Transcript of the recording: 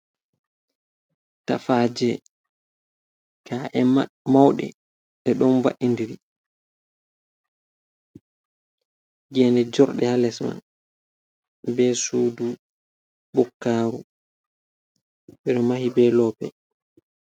Tafaje ka’e mauɗe ɗe ɗon va’indiri, gene jorde ha lesman be sudu bukkaru ɓe mahi be lope.